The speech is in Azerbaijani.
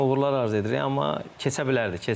Yəni uğurlar arzu edirik, amma keçə bilərdi.